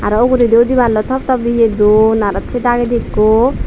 the uguredi udiballoi thop thop iye dun aro se dagedi ekku.